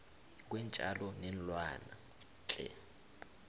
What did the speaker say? kweentjalo neenlwana the